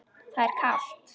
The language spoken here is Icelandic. Það er kalt.